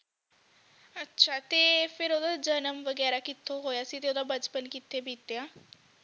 ਅੱਛਾ ਤੇ ਫੇਰ ਓਹਦਾ ਜਨਮ ਵਗੈਰਾ ਕਿੱਥੇ ਹੋਇਆ ਸੀ ਤੇ ਓਹਦਾ ਬਚਪਨ ਕਿੱਥੇ ਬੀਤਿਆ